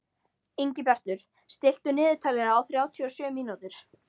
Ingibjartur, stilltu niðurteljara á þrjátíu og sjö mínútur.